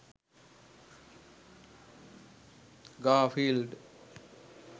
garfield